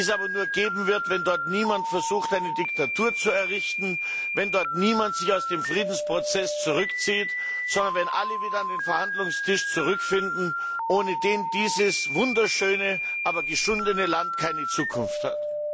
Die wird es aber nur geben, wenn dort niemand versucht, eine Diktatur zu errichten, wenn sich dort niemand aus dem Friedensprozess zurückzieht, sondern wenn alle wieder an den Verhandlungstisch zurückfinden, ohne den dieses wunderschöne, aber geschundene Land keine Zukunft hat.